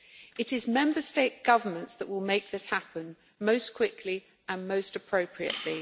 It is Member State governments that will make this happen most quickly and most appropriately.